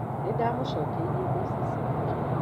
Ninda mũcokeirie mbeca ciake